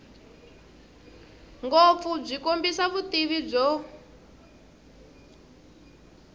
ngopfu byi kombisa vutivi byo